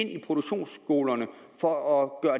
i produktionsskolerne for at